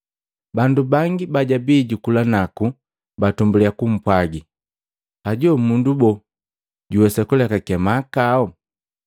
Bandu bangi bajabi jukula naku batumbuliya kupwagani, “Hajo mundu boo jojuwesa kulekake mahakao?”